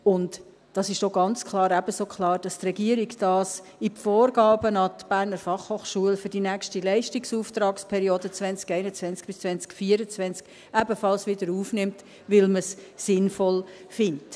Und es ist ganz klar ebenso klar, dass die Regierung dies in die Vorgaben der BFH für die nächste Leistungsauftragsperiode 2021–2024 ebenfalls wiederaufnimmt, weil man es sinnvoll findet.